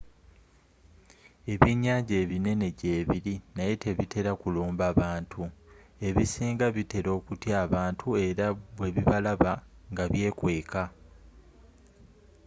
ebyenyanja ebinene gyebili naye tebitela kulumba bantu ebisinga bitela okutya abantu era bwebibalaba nga byekweka